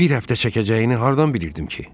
Bir həftə çəkəcəyini hardan bilirdim ki?